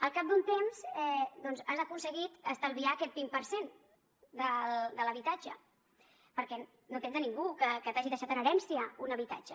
al cap d’un temps doncs has aconseguit estalviar aquest vint per cent de l’habitatge perquè no tens ningú que t’hagi deixat en herència un habitatge